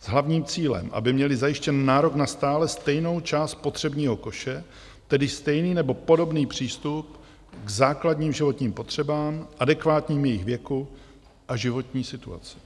s hlavním cílem, aby měli zajištěn nárok na stále stejnou část spotřebního koše, tedy stejný nebo podobný přístup k základním životním potřebám adekvátním jejich věku a životní situaci.